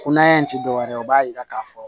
Ko n'an ye in ti dɔwɛrɛ ye o b'a yira k'a fɔ